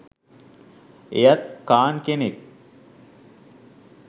එයත් ඛාන් කෙනෙක්